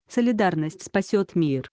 солидарность спасёт мир